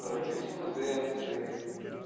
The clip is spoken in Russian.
юриспруденции